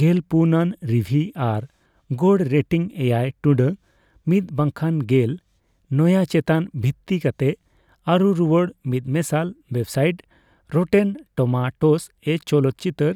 ᱜᱮᱞ ᱯᱩᱱ ᱟᱱ ᱨᱤᱵᱷᱤᱭ ᱟᱨ ᱜᱚᱲ ᱨᱮᱴᱤᱝ ᱮᱭᱟᱭ ᱴᱩᱰᱟᱹᱜ ᱢᱤᱛ ᱵᱟᱠᱷᱟᱱ ᱜᱮᱞ ᱱᱚᱭᱟᱹ ᱪᱮᱛᱟᱱ ᱵᱷᱤᱛᱛᱤ ᱠᱟᱛᱮ ᱟᱹᱨᱩ ᱨᱩᱭᱟᱹᱲ ᱢᱤᱫᱢᱮᱥᱟᱞ ᱳᱭᱮᱵᱥᱟᱤᱴ ᱨᱚᱴᱮᱱ ᱴᱚᱢᱟᱴᱳᱥ ᱮ ᱪᱚᱞᱚᱠᱪᱤᱛᱟᱹᱨ